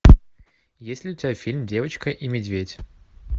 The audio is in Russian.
есть ли у тебя фильм девочка и медведь